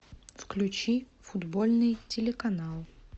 включи футбольный телеканал